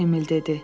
Emil dedi.